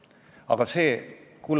Mis fraktsioon sinuga teeb, seda ma ei tea.